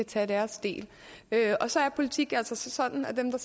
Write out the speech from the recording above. tage deres del og så er politik altså sådan at dem der